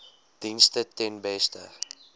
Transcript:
dienste ten beste